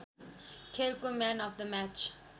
खेलको man of the match